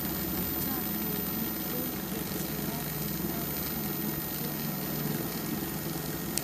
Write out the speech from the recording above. Chomye ng'ung' kou kecheyat ne lapkeei kemout tukul.